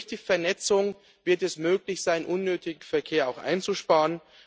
Eben durch die Vernetzung wird es möglich sein, unnötigen Verkehr auch einzusparen.